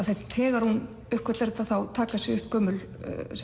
þegar hún uppgötvar þetta þá taka sig upp gömul